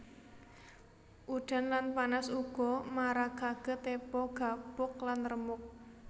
Udan lan panas uga marakake tepo gapuk lan remuk